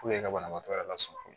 ka banabaatɔ yɛrɛ lasunɔgɔ